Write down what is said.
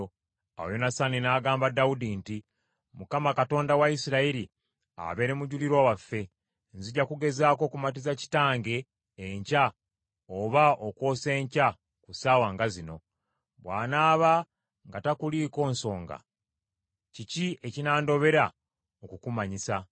Awo Yonasaani n’agamba Dawudi nti, “ Mukama , Katonda wa Isirayiri, abeere mujulirwa waffe; nzija kugezaako okumatiza kitange enkya oba okwosa enkya ku ssaawa nga zino. Bw’anaaba nga takuliiko nsonga, kiki ekinandobera okukumanyisa?